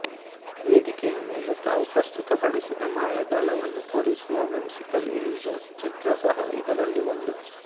ವೇದಿಕೆಯ ಮೇಲೆ ತಾವು ಪ್ರಸ್ತುತ ಪಡಿಸಿದ ಮಾಯಾಜಾಲವನ್ನು ತೋರಿಸುವ ವಿಮ್ಸಿಕಲ್ ಇಲ್ಲ್ಯುಷನ್ಸ್ ಚಿತ್ರ ಸಹ ಇದರಲ್ಲಿ ಒಂದು